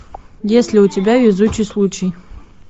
если у тебя везучий случай